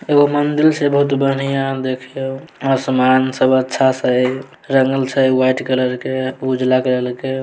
एगो मंदिर छै बहुत बढ़िया देखे में आसमान सब अच्छा से हई रंगल छै व्हाइट कलर के उजला कलर के।